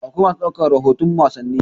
Akwai masu ɗaukar rahoton wasanni.